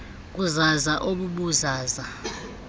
ubuzaza ob buzaza